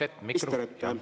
Lugupeetud minister!